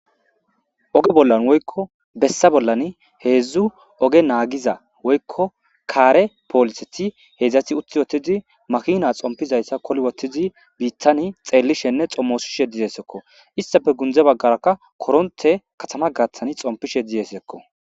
Oge bollani woyko besa bollani hedzdzu oge nagiza woyko kare poliseti hedzdzati uti uttidi makina xompizaysa koli wothidi bitani xeelishenne xomosishe dizysako , istappe gunde bagaraka korontey katama gathani xomipishe desiko.